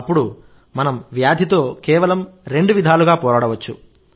అప్పుడు మనం వ్యాధితో కేవలం రెండు విధాలుగా పోరాడవచ్చు